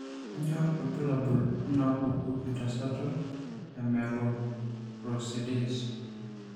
Kainyio irbulabul onaapuku entasato eMyeloperoxidase?